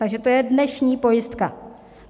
Takže to je dnešní pojistka.